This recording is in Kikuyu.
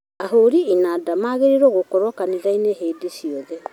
Ahũri inanda maagĩrĩirwo gũkorwo kanitha-inĩ hĩndĩ ciothe